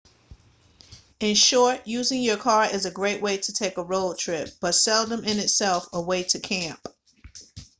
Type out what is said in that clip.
in short using your car is a great way to take a road trip but seldom in itself a way to camp